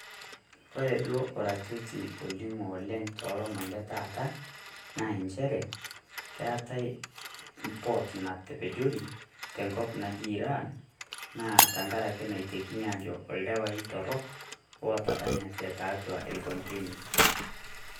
Kore doo orarioti oining'o oleng to loomon le taata naa encheere keetai mpoot natepejorii te nkop najii Iran naa tang'arak neitekini ajo oldawai torrok otadanyatee teatua elkonteina.